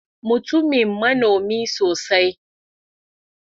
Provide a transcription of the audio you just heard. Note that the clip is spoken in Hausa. Mutumin manomi sosai.